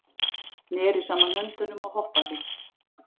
Neri saman höndum og hoppaði.